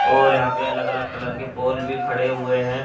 और यहां पे अलग अलग कलर के पोल भी खड़े हुए हैं।